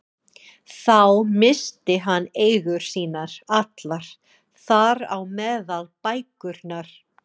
Þá missti hann eigur sínar allar, þar á meðal bækurnar.